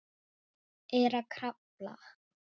Er að krafla.